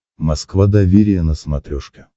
москва доверие на смотрешке